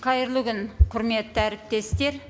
қайырлы күн құрметті әріптестер